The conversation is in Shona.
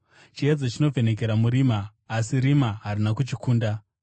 Chiedza chinovhenekera murima, asi rima harina kuchikunda.